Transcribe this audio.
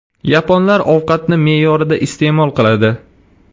Yaponlar ovqatni me’yorida iste’mol qiladi.